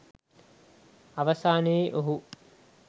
අවසානයේ ඔහු